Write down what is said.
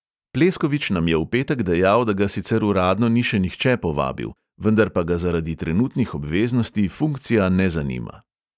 Pleskovič nam je v petek dejal, da ga sicer uradno ni še nihče povabil, vendar pa ga zaradi trenutnih obveznosti funkcija ne zanima.